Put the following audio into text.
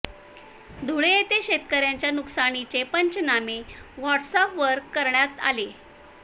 धुळे येथे शेतकऱयांच्या नुकसानीचे पंचनामे वॉट्सॅप वर करण्यात आले